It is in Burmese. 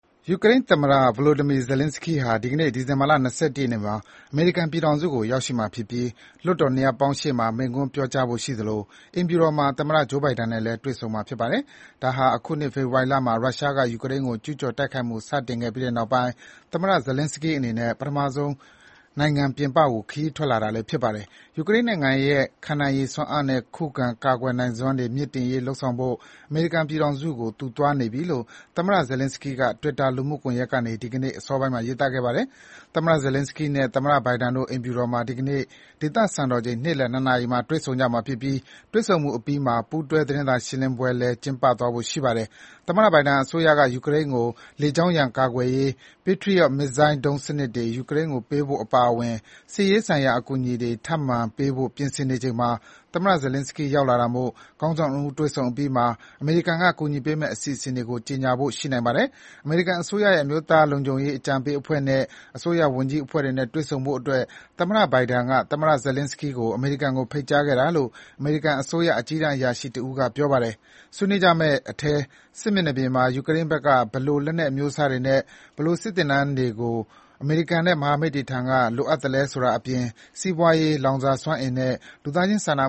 ယူကရိန်းသမ္မတ Volodymyr Zelenskyy ဟာ ဒီကနေ့ ဒီဇင်ဘာ ၂၁ ရက်နေ့မှာ အမေရိကန်ပြည်ထောင်စုကို ရောက်ရှိမှာဖြစ်ပြီး လွှတ်တော် နှစ်ရပ်ပေါင်းရှေ့မှာ မိန့်ခွန်းပြောကြားဖို့ရှိသလို အိမ်ဖြူတော်မှာ သမ္မတ Joe Biden နဲ့လည်း တွေ့ဆုံမှာ ဖြစ်ပါတယ်။ ဒါဟာ အခုနှစ် ဖေဖော်ဝါရီလမှာ ရုရှားက ယူကရိန်းကို ကျူးကျော်တိုက်ခိုက်မှု စတင်ခဲ့ပြီးနောက်ပိုင်း သမ္မတ Zelenskyy အနေနဲ့ ပထမဆုံး နိုင်ငံပြင်ပကို ခရီးထွက် တာလည်း ဖြစ်ပါတယ်။ ယူကရိန်းနိုင်ငံရဲ့ခံနိုင်ရည်စွမ်းအားနဲ့ ခုခံကာကွယ်နိုင်စွမ်းတွေ မြှင့်တင်နိုင်ရေး လုပ်ဆောင်ဖို့ အမေရိကန်ပြည်ထောင်စုကို သူသွားနေပြီလို့ သမ္မတ Zelenskyy က Twitter လူမှုကွန်ယက်ကနေ ဒီကနေ့ အစောပိုင်းမှာ ရေးသားခဲ့ပါတယ်။ သမ္မတ Zelenskyy နဲ့ သမ္မတ ဘိုင်ဒန်တို့ အိမ်ဖြူတော်မှာ ဒီကနေ့ ဒေသစံတော်ချိန် နေ့လည် ၂ နာရီမှာ တွေ့ဆုံကြမှာဖြစ်ပြီး တွေ့ဆုံမှုအပြီးမှာ ပူးတွဲ သတင်းစာရှင်းလင်းပွဲ ကျင်းပဖို့ ရှိပါတယ်။ သမ္မတဘိုင်ဒန်အစိုးရက ယူကရိန်းကို လေကြောင်းရန်ကာကွယ်ရေး Patriot မစ်ဇိုင်းဒုံးစနစ်တွေ ယူကရိန်းကိုပေးဖို့အပါအဝင် စစ်ရေးဆိုင်ရာအကူအညီတွေထပ်မံပေးဖို့ ပြင်ဆင်နေချိန်မှာ သမ္မတ Zelenskyy ရောက်လာတာမို့ ခေါင်းဆောင် ၂ ဦးတွေ့ဆုံအပြီးမှာ အမေရိကန်က ကူညီပေးမယ့် အစီအစဉ်တွေကို ကြေညာဖို့ရှိနိုင်ပါတယ်။ အမေရိကန်အစိုးရရဲ့ အမျိုးသားလုံခြုံရေးအကြံပေးအဖွဲ့နဲ့ အစိုးရဝန်ကြီးအဖွဲ့တွေနဲ့ တွေ့ဆုံဖို့အတွက် သမ္မတဘိုင်ဒန်က သမ္မတ Zelenskyy ကို အမေရိကန်နိုင်ငံကို ဖိတ်ကြားခဲ့တာလို့ အမေရိကန်အစိုးရ အကြီးတန်းအရာရှိတဦးက ပြောပါတယ်။ ဆွေးနွေးကြမယ့်အထဲ စစ်မျက်နှာပြင်မှာ ယူကရိန်းဘက်က ဘယ်လို လက်နက်အမျိုးအစားတွေနဲ့ ဘယ်လို စစ်သင်တန်းမျိုးတွေကို အမေရိကန်နဲ့ မဟာမိတ်တွေထံက လိုအပ်သလဲဆိုတာအပြင် စီးပွားရေး၊ လောင်စာစွမ်းအင်နဲ့ လူသားချင်းစာနာ